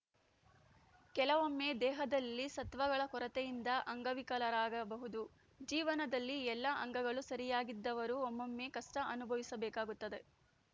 ಕೆಲವೊಮ್ಮೆ ದೇಹದಲ್ಲಿ ಸತ್ವಗಳ ಕೊರತೆಯಿಂದ ಅಂಗವಿಕಲರಾಗಬಹುದು ಜೀವನದಲ್ಲಿ ಎಲ್ಲಾ ಅಂಗಗಳೂ ಸರಿಯಾಗಿದ್ದವರು ಒಮ್ಮೊಮ್ಮೆ ಕಷ್ಟಅನುಭವಿಸಬೇಕಾಗುತ್ತದೆ